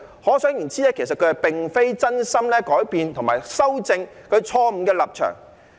可想而知，他並非真心改變及修正其錯誤的立場。